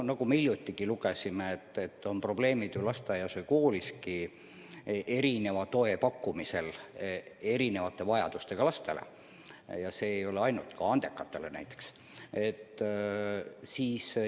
Nagu me hiljuti lugesime, lasteaias ja kooliski on probleeme erineva toe pakkumisel erivajadustega lastele, ka andekatele näiteks.